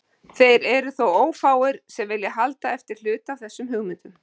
Þeir eru þó ófáir sem vilja halda eftir hluta af þessum hugmyndum.